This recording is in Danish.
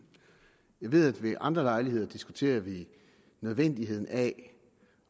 jeg ved at vi ved andre lejligheder diskuterer nødvendigheden af